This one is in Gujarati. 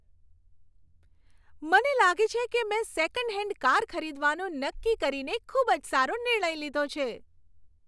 મને લાગે છે કે મેં સેકન્ડ હેન્ડ કાર ખરીદવાનું નક્કી કરીને ખૂબ જ સારો નિર્ણય લીધો છે.